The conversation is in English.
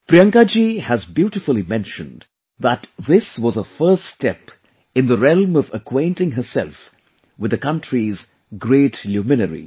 Priyanka ji has beautifully mentioned that this was her first step in the realm of acquainting herself with the country's great luminaries